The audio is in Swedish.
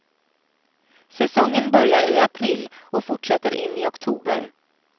Säsongen börjar i april och fortsätter in i oktober.